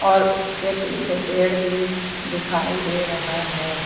और उसके पीछे पेड़ भी दिखाई दे रहा है।